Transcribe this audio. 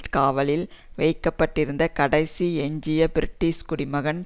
காவலில் வைக்க பட்டிருந்த கடைசி எஞ்சிய பிரிட்டிஷ் குடிமகன்